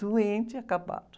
Doente e acabado.